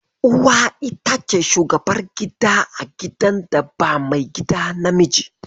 Uwa ita ce shugabar gida a gidan da ba maigida namiji.